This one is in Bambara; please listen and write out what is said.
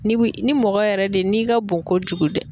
Ni ni mɔgɔ yɛrɛ de n'i ka bon kojugu dɛ.